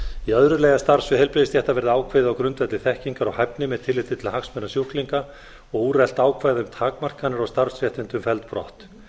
í öðru lagi að starfssvið heilbrigðisstétta verði ákveðið á grundvelli þekkingar og hæfni með tilliti til hagsmuna sjúklinga og úrelt ákvæði um takmarkanir og starfsréttindi felld brott